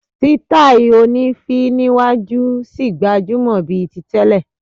Sítáì oní féé níwájú ṣì gbajúmọ̀ bíi ti tẹ́lẹ̀.